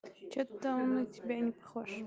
что-то мы тебя не